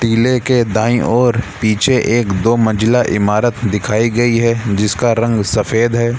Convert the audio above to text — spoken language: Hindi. किले के दाईं और पीछे एक-दो मंजिला इमारत दिखाई गई है जिसका रंग सफ़ेद है।